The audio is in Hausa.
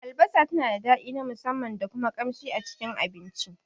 Albasa tana da daɗi na musamman da kuma kamshi a Cikin abinci.